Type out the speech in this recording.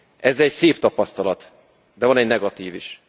Ez egy szép tapasztalat, de van egy negatív is.